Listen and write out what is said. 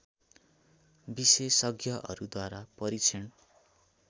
विशेषज्ञहरूद्वारा परीक्षण